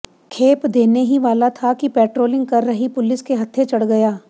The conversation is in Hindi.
खेप देने ही वाला था कि पेट्रोलिंग कर रही पुलिस के हत्थे चढ गया